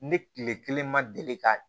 Ne tile kelen ma deli ka